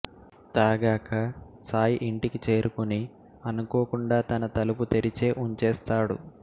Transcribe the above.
తాగాక సాయి ఇంటికి చేరుకుని అనుకోకుండా తన తలుపు తెరిచే ఉంచేస్తాడు